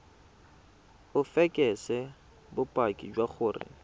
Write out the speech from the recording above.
o fekese bopaki jwa gore